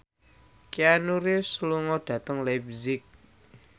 Keanu Reeves lunga dhateng leipzig